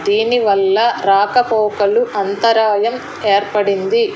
దీని వల్ల రాకపోకలు అంతరాయం ఏర్పడింది.